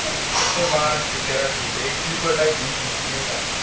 बाराशे तेराशे रुपये sleeper type असतं नाही का?